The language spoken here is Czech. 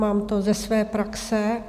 Mám to ze své praxe.